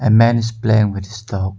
A man is playing with his dog.